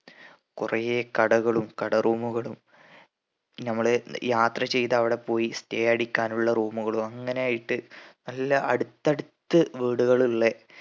കുറെ കടകളും കട room കളും നമ്മള് യാത്ര ചെയ്ത് അവിടെ പോയി stay അടിക്കാനുള്ള room കളും അങ്ങനെ ഇട്ട് നല്ല അടുത്തടുത്ത് വീട്കളിള്ളേ